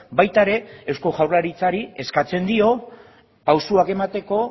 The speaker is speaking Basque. baita ere eusko jaurlaritzari eskatzen dio pausuak emateko